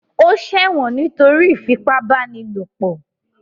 Ó ṣẹ̀wọ̀n nítorí ìfipábánilòpọ̀?